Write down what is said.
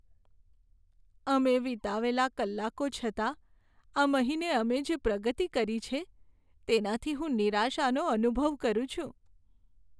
અમે વિતાવેલા કલાકો છતાં આ મહિને અમે જે પ્રગતિ કરી છે તેનાથી હું નિરાશાનો અનુભવ કરું છું.